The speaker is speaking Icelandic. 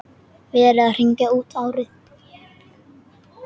Verið að hringja út árið.